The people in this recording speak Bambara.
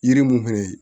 Yiri mun fɛnɛ ye